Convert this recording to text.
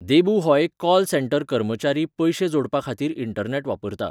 देबू हो एक call centre कर्मचारी पयशे जोडपाखातीर इंटरनॅट वापरता.